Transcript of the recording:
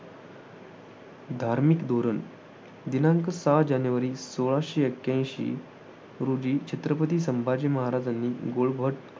Actually कालच माझ्या एका friend शी बोलण झाल तो पुण्यातच आहे आणि मी पुण्यला होती ना राहायला last time दोन वर्ष झाल तर माझी last time pre निघाली होती तर पण.